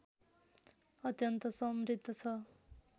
अत्यन्त समृद्ध छ